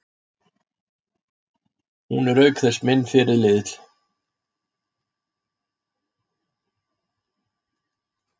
Hún er auk þess minn fyrirliði.